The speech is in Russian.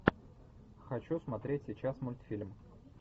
хочу смотреть сейчас мультфильм